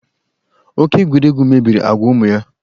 Oke egwuregwu mebiri agwa ụmụ ya.